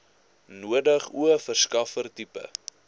nodig o verskaffertipe